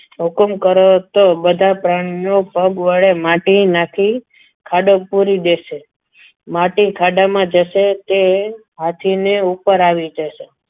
હુકુમ કરો તો બધા પ્રાણીઓ પગ વડે માટી નાખી ખાડો પૂરી દેશે માટી ખાડામાં જશે તે આથી ઉપર આવી જશે.